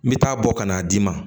N bɛ taa bɔ ka n'a d'i ma